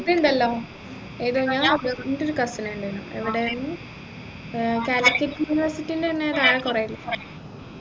ഇതുണ്ടല്ലോ ഏതാ എൻെറ ഒരു cousin ഉണ്ടായിരുന്നു എവിടെ means ഏർ calicut university ൻറെ ആടെ കുറെ